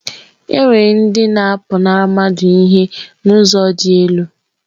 Enwere ndị na-apụnara mmadụ ihe n'ụzọ dị elu.